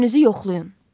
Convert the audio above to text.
Özünüzü yoxlayın.